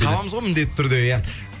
табамыз ғой міндетті түрде иә